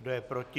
Kdo je proti?